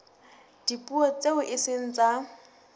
dipuo tseo e seng tsa